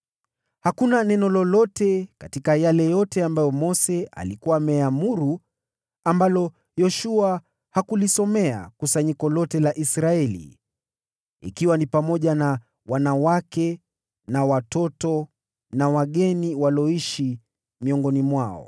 Hakuna neno lolote katika yale yote ambayo Mose alikuwa ameamuru ambalo Yoshua hakulisomea kusanyiko lote la Israeli, ikiwa ni pamoja na wanawake na watoto, na wageni walioishi miongoni mwao.